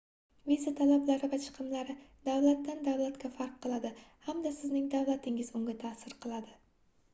viza talablari va chiqimlari davlatdan davlatga farq qiladi hamda sizning davlatingiz unga taʼsir qiladi